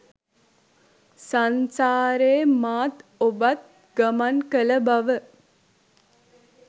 සංසාරේ මාත් ඔබත් ගමන් කළ බව